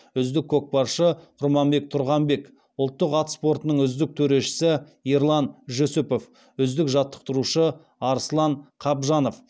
үздік көкпаршы құрманбек тұрғанбек ұлттық ат спортының үздік төрешісі ерлан жүсіпов үздік жаттықтырушы арслан қабжанов